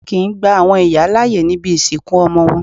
A kìí gba àwọn ìyá láàyè níbi ìsìnkú ọmọ wọn.